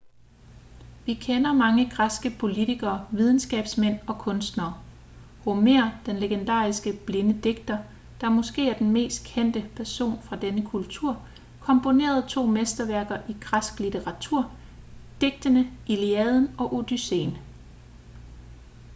vi kender mange græske politikere videnskabsmænd og kunstnere homer den legendariske blinde digter der måske er den mest kendte person fra denne kultur komponerede to mesterværker i græsk litteratur digtene iliaden og odysseen